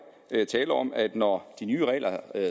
tale om at når de nye regler